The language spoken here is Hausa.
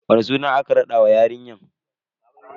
Wani suna aka raɗa wa yarinya?